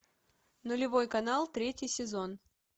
нулевой канал третий сезон